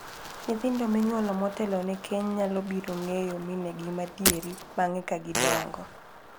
Nyithindo minyuolo motelone keny nyalo biro ng'eyo minegi madieri bang'e ka gidongo.